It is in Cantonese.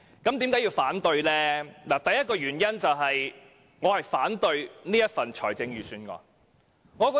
我提出反對的第一個原因，是我反對本年度的財政預算案。